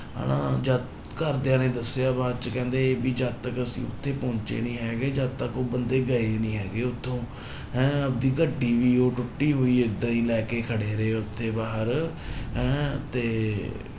ਹਨਾ ਜਦ ਘਰਦਿਆਂ ਨੇ ਦੱਸਿਆ ਬਾਅਦ ਚ ਕਹਿੰਦੇ ਵੀ ਜਦ ਤੱਕ ਅਸੀਂ ਉੱਥੇ ਪਹੁੰਚੇ ਨੀ ਹੈਗੇ ਜਦ ਤੱਕ ਉਹ ਬੰਦੇ ਗਏ ਨੀ ਹੈਗੇ ਉੱਥੋਂ ਹੈਂ ਆਪਦੀ ਗੱਡੀ ਵੀ ਉਹ ਟੁੱਟੀ ਹੋਈ ਏਦਾਂ ਹੀ ਲੈ ਕੇ ਖੜੇ ਰਹੇ ਉੱਥੇ ਬਾਹਰ ਹੈਂ ਤੇ